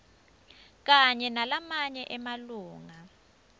kanye nalamanye emalunga